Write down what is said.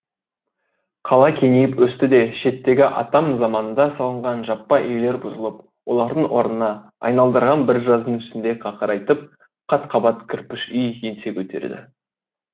қала кеңейіп өсті де шеттегі атам заманда салынған жаппа үйлер бұзылып олардың орнына айналдырған бір жаздың ішінде қақырайтып қат қабат кірпіш үй еңсе көтерді